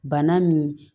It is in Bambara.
Bana min